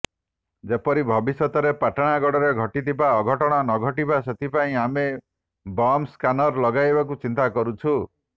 ଯେପରି ଭବିଷ୍ୟତରେ ପାଟଣାଗଡ଼ରେ ଘଟିଥିବା ଅଘଟଣ ନଘଟିବ ସେଥିପାଇଁ ଆମେ ବମ୍ ସ୍କାନର୍ ଲଗାଇବାକୁ ଚିନ୍ତା କରୁଛୁ